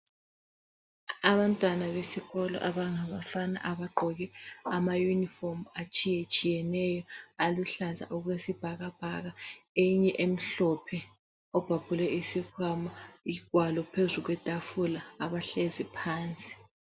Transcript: Abantwana besikolo abangabafana abagqoke ama unifomu atshiyetshiyeneyo aluhlaza okwesibhakabhaka ,eyinye emhlophe ,obhabhule isikhwama, ingwalo phezu kwetafula , abahlezi phansi